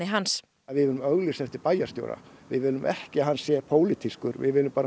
hans við viljum auglýsa eftir bæjarstjóra við viljum ekki að hann sé pólitískur við viljum